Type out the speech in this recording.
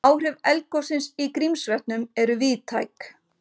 Áhrif eldgossins í Grímsvötnum eru víðtæk